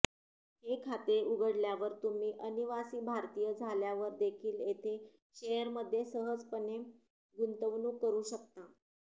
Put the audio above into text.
हे खाते उघडल्यावर तुम्ही अनिवासी भारतीय झाल्यावरदेखील येथे शेअरमध्ये सहजपणे गुंतवणूक करू शकता